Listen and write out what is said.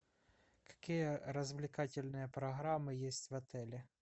какие развлекательные программы есть в отеле